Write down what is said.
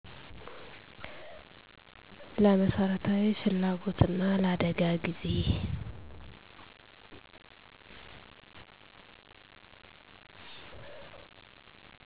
ለመሠረታዊ ፍላጎትና ለአደጋ ጊዜ